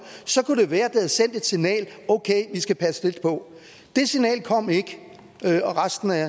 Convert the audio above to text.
så kunne det være det havde sendt et signal okay vi skal passe lidt på det signal kom ikke og resten er